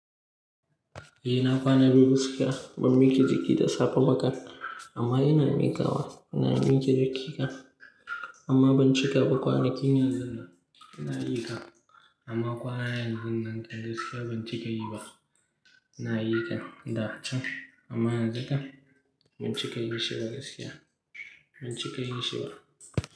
Eh na kwana dubu biyu gaskiya ban miƙe jiki da safe ba kan amma ina mikawa. Ina miƙe jikina amma ban cika ba kwanakin yanzun nan. Ina miƙa amma kwana yanzun nan gaskiya ban cika yi ba. Ina yi da can amma yanzu kan ban cika yim shi ba gaskiya ban cika yin shi ba.